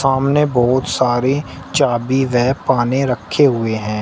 सामने बहुत सारे चाबी व पाने रखे हुए हैं।